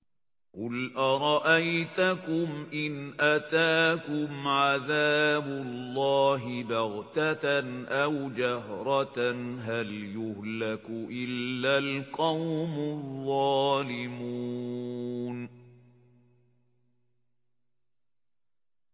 قُلْ أَرَأَيْتَكُمْ إِنْ أَتَاكُمْ عَذَابُ اللَّهِ بَغْتَةً أَوْ جَهْرَةً هَلْ يُهْلَكُ إِلَّا الْقَوْمُ الظَّالِمُونَ